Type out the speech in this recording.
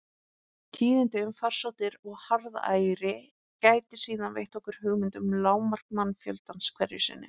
Tíðindi um farsóttir og harðæri geta síðan veitt okkur hugmynd um lágmark mannfjöldans hverju sinni.